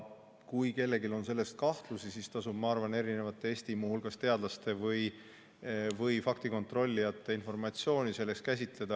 Kui kellelgi on selles suhtes kahtlusi, siis tasub, ma arvan, muu hulgas Eesti teadlaste või faktikontrollijate informatsiooniga tutvuda.